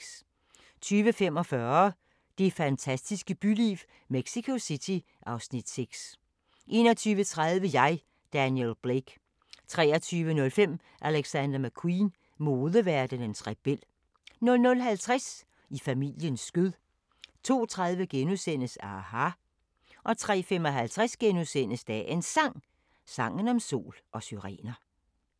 20:45: Det fantastiske byliv - Mexico City (Afs. 6) 21:30: Jeg, Daniel Blake 23:05: Alexander McQueen – modeverdenens rebel 00:50: I familiens skød 02:30: aHA! * 03:55: Dagens Sang: Sangen om sol og syrener *